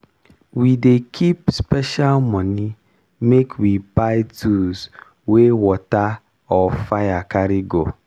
we dey keep special moni make we buy tools wey water or fire carry go.